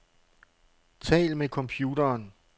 Tal med computeren.